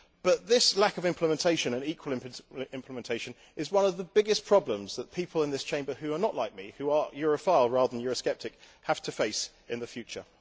But this lack of implementation and equal implementation is one of the biggest problems that people in this Chamber who are not like me who are Europhile rather than Euro sceptic have to face in the future.